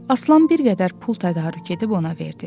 Aslan bir qədər pul tədarük edib ona verdi.